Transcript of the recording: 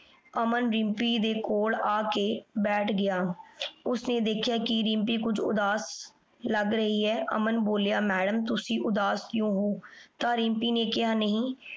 ਅਮਨ ਰਿਮ੍ਪੀ ਦੇ ਕੋਲ ਆ ਕੇ ਬੈਠ ਗਯਾ ਓਸਨੇ ਦੇਖ੍ਯਾ ਦਿਮ੍ਪੀ ਕੁਜ ਉਦਾਸ ਲਾਗ ਰਹੀ ਆਯ ਅਮਨ ਬੋਲਿਆ, ਮੈਡਮ ਤੁਸੀਂ ਉਦਾਸ ਕਯੋ ਹੋ? ਤਾ ਦਿਮ੍ਪੀ ਨੇ ਕੇਹਾ, ਨਹੀ